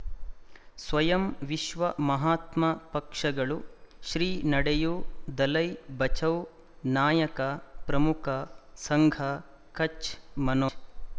ಸ್ವಯಂ ವಿಶ್ವ ಮಹಾತ್ಮ ಪಕ್ಷಗಳು ಶ್ರೀ ನಡೆಯೂ ದಲೈ ಬಚೌ ನಾಯಕ ಪ್ರಮುಖ ಸಂಘ ಕಚ್ ಮನೋ